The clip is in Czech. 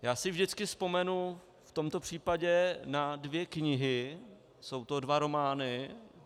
Já si vždycky vzpomenu v tomto případě na dvě knihy, jsou to dva romány.